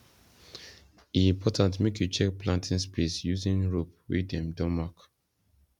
e important make you check planting space using rope wey dem don mark